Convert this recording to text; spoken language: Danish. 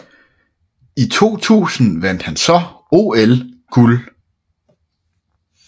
I 2000 vandt han så OL guld